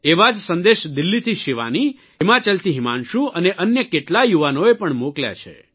એવા જ સંદેશ દિલ્હીથી શિવાની હિમાચલથી હિમાંશું અને અન્ય કેટલાય યુવાનોએ પણ મોકલ્યા છે